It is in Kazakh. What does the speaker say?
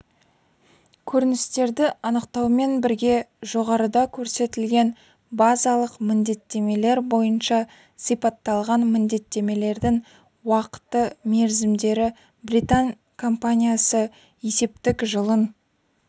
көріністерді анықтаумен бірге жоғарыда көрсетілген базалық міндеттемелер бойынша сипатталған міндеттемелердің уақыты-мерзімдері британ компаниясы есептік жылын